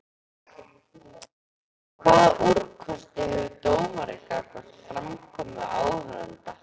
Hvaða úrkosti hefur dómari gagnvart framkomu áhorfenda?